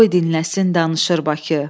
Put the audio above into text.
Qoy dinləsin danışır Bakı.